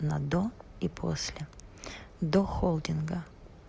на до и после до холдинга